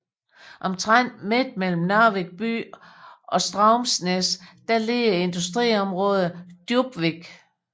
Omtrent midt mellem Narvik by og Straumsnes ligger industriområdet Djupvik